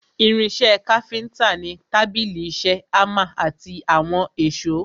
Irin ìṣe káfíntà ni tábìlì ìṣe, hámà àti àwọn èsó.